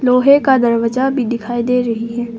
लोहे का दरवाजा भी दिखाई दे रही है।